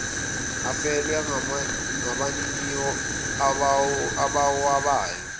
afelwe ngabaniniwo abawabayo